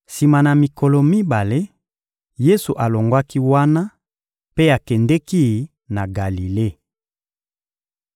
Sima na mikolo mibale, Yesu alongwaki wana mpe akendeki na Galile.